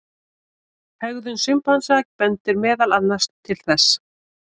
Hegðun simpansa bendir meðal annars til þess.